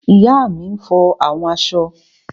Ìyá mi n fọ àwọn aṣọ